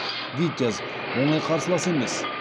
витязь оңай қарсылас емес